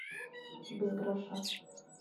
без гроша